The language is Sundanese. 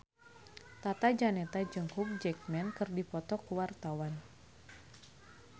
Tata Janeta jeung Hugh Jackman keur dipoto ku wartawan